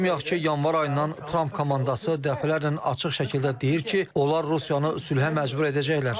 Unutmayaq ki, yanvar ayından Tramp komandası dəfələrlə açıq şəkildə deyir ki, onlar Rusiyanı sülhə məcbur edəcəklər.